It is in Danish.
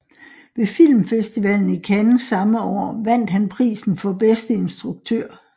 Ved Filmfestivalen i Cannes samme år vandt han prisen for bedste instruktør